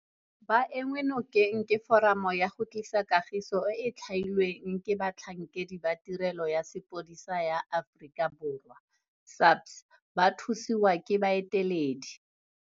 Ba enngwe nokeng ke Foramo ya go Tlisa Kagiso e e theilweng ke batlhankedi ba Tirelo ya Sepodisi sa Aforika Borwa, SAPS, ba thusiwa ke baeteledi